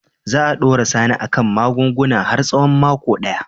Za a dora Sani a kan magunguna har tsawon mako daya.